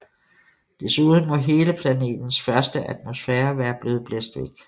Desuden må hele planetens første atmosfære være blevet blæst væk